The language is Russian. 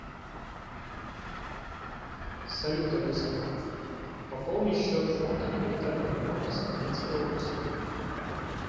салют алиса пополни счет фонда капитального ремонта сахалинской области